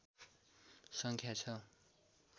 सङ्ख्या छ